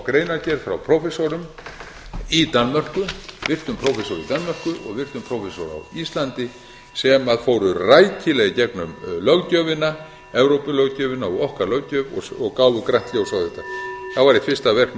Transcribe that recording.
greinargerð frá prófessorum í danmörku virtum prófessor í danmörku og virtum prófessor á íslandi sem fóru rækilega í gegnum evrópulöggjöfina og okkar löggjöf og gáfu grænt ljós á þetta þá var eitt fyrsta verk